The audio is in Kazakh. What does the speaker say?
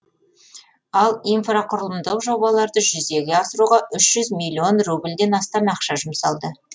ал инфрақұрылымдық жобаларды жүзеге асыруға үш жүз миллион рубльден астам ақша жұмсалды